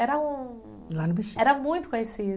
Era um... Lá no Bexiga. Era muito conhecido.